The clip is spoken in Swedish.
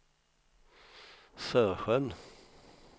Sörsjön